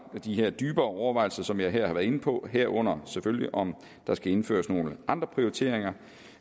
her dybere overvejelser som jeg her har været inde på herunder selvfølgelig om der skal indføres nogle andre prioriteringer